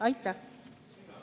Aitäh!